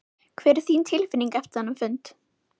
Hver er þín tilfinning eftir þennan fund?